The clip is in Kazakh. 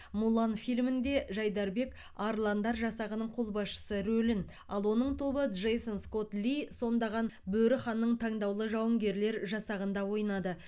мулан фильмінде жайдарбек арландар жасағының қолбасшысы рөлін ал оның тобы джейсон скотт ли сомдаған бөрі ханның таңдаулы жауынгерлер жасағында ойнады